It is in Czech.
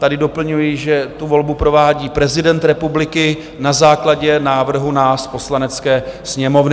Tady doplňuji, že tu volbu provádí prezident republiky na základě návrhu nás, Poslanecké sněmovny.